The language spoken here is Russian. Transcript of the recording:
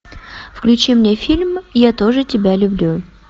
включи мне фильм я тоже тебя люблю